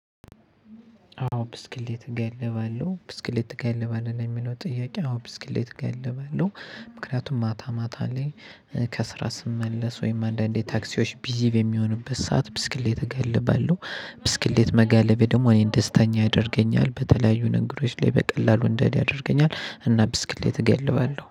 አዎ ብስክሌት እጋልባለሁ ብስክሌት እጋልባለሁ ለሚለው ጥያቄ አዎ ብስክሌት እጋልባለሁ። ምክንያቱም ማታ ማታ ላይ ከስራ ስመለስ ወይም አንዳንዴ ታክሲዎች ቢዚ በሚሆንበት ሰዓት ብስክሌት እጋልባለሁ። ብስክሌት መጋለቤ ደግሞ እኔን ደስተኛ ያደርገኛል በተለያዩ ነገሮች ላይ በቀላሉ እንድሄድ ያደርገኛል። እና ብስክሌት እጋልባለሁ